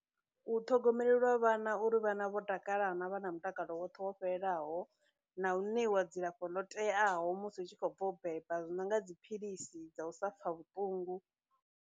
U ṱhogomelelwa vhana uri vhana vho takalana vha na mutakalo woṱhe wo fhelelaho, na u ṋeiwa dzilafho ḽo teaho musi u tshi khou bva u beba, zwi no nga dziphilisi dza u sa pfha vhuṱungu.